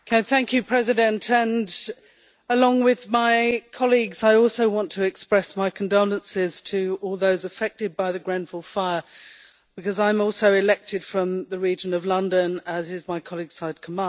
Mr President, along with my colleagues I also want to express my condolences to all those affected by the Grenfell fire because I am also elected from the region of London, as is my colleague Syed Kamall.